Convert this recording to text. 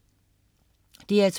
DR2: